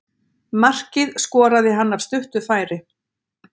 Markið skoraði hann af stuttu færi.